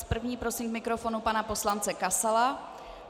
S první prosím k mikrofonu pana poslance Kasala.